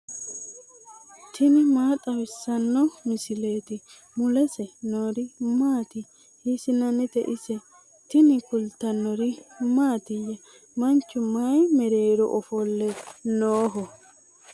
tini maa xawissanno misileeti ? mulese noori maati ? hiissinannite ise ? tini kultannori mattiya? Manchu mayi meerero ofolle nooho?